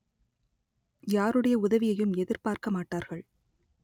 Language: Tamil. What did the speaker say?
யாருடைய உதவியையும் எதிர்பார்க்க மாட்டார்கள்